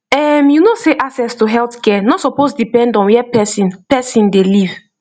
ehm you know sey access to healthcare no suppose depend on where person person dey live